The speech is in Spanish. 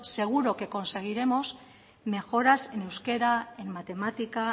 seguro que conseguiremos mejoras en euskera en matemática